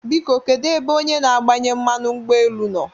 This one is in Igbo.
Biko kedụ ebe onye na-agbanye mmanụ ụgbọ elu nọ?